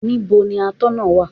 Níbo ni Atọ́nà náà wà?